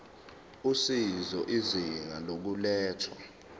usizo izinga lokulethwa